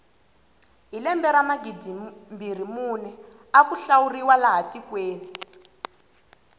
hi lembe ra magidimbirhi mune aku hlawuriwa laha tikweni